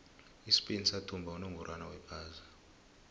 ispain sathumba unongorwond wephasi